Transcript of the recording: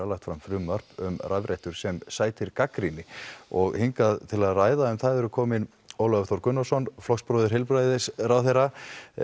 lagt fram frumvarp um rafrettur sem sætir gagnrýni og hingað til að ræða um það er kominn Ólafur Þór Gunnarsson flokksbróðir heilbrigðisráðherra